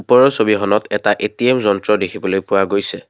ওপৰৰ ছবিখনত এটা এ_টি_এম্ যন্ত্ৰ দেখিবলৈ পোৱা গৈছে।